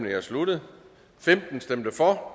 er sluttet for